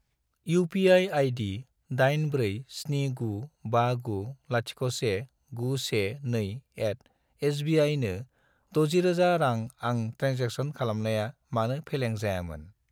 UPI. ID 84795901912@sbi नो 60000 रां आं ट्रेन्जेक्सन खालामनाया मानो फेलें जायामोन?